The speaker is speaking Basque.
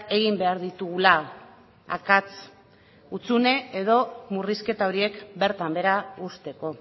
egin behar ditugula akats hutsune edo murrizketa horiek bertan behera uzteko